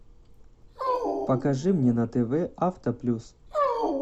покажи мне на тв авто плюс